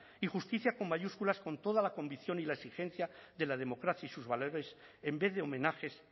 y justicia con mayúsculas con toda la convicción y la exigencia de la democracia y sus valores en vez de homenajes